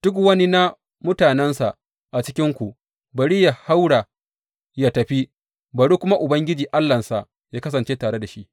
Duk wani na mutanensa a cikinku, bari yă haura yă tafi, bari kuma Ubangiji Allahnsa yă kasance tare da shi.